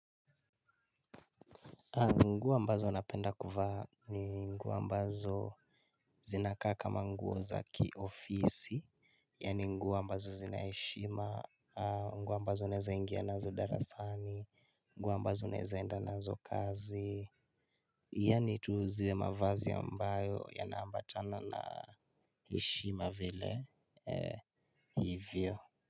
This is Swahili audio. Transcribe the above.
Nguo ambazo anapenda kuvaa ni nguo ambazo. Zinakaa kama nguo za kiofisi, yaani nguo ambazo zina heshima, nguo ambazo uneza ingia nazo darasani, nguo ambazo unaeza enda nazo kazi, yaani tuuziwe mavazi ambayo yana ambatana na heshima vile hivyo.